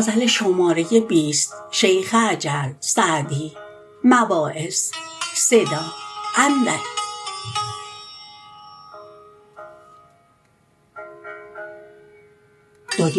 دنیی